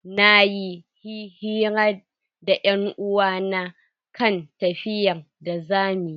Nayi yi hira da 'yan uwa na kan tafiyar da zamu yi.